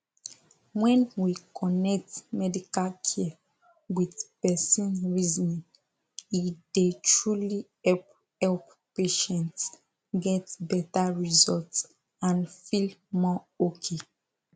when we connect medical care with person reasoning e dey truly help help patients get better result and feel more okay